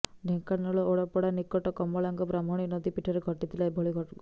ଢେଙ୍କାନାଳ ଓଡ଼ାପଡ଼ା ନିକଟ କମଳାଙ୍ଗ ବ୍ରାହ୍ମଣୀ ନଦୀପଠାରେ ଘଟିଥିଲା ଏଭଳି ଅଘଟଣ